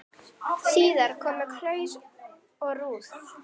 Síðar komu Claus og Ruth.